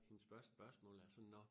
Hendes første spørgsmål er sådan nå